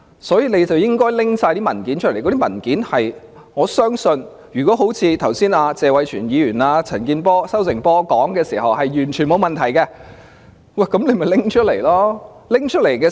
所以，他們應該交出所有文件，我相信如果像謝偉銓議員和"收成波"陳健波議員剛才所說，事情是完全沒有問題，那麼便請拿出文件來。